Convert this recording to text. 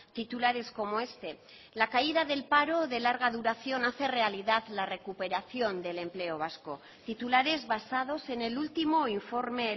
titulares como este la caída del paro de larga duración hace realidad la recuperación del empleo vasco titulares basados en el último informe